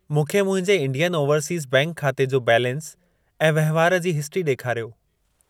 मूंखे मुंहिंजे Indian overseas bank खाते जो बैलेंस ऐं वहिंवार जी हिस्ट्री ॾेखारियो।